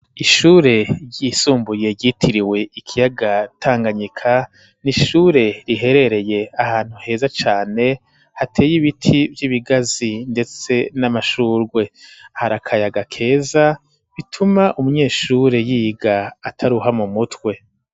Ishure ryisumbuye, ryitiriwe ikiyaga Tanganyika, ni ishure, riherereye ahantu heza cane, hateye ibiti vy'ibigazi; ndetse n'amashurwe, hari akayaga keza, bituma umuyeshure, yiga ataruha, mu mutwe.